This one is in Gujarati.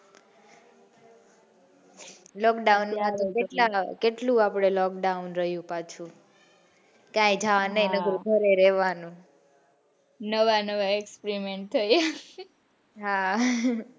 lockdown કેટલું lockdown રહ્યું પાછું ક્યાંય જવાનું નાઈ ઘરે રેવાનું નવા નવા experiment થયા હા